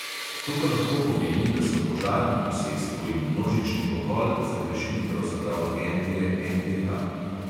To pa lahko pomeni, da so požar na posestvu in množični pokol zagrešili pravzaprav agentje NDH.